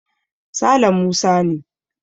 Sale Musa ne.